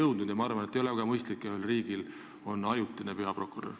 Ja üldiselt ma arvan, et ei ole väga mõistlik, et ühel riigil on ajutine peaprokurör.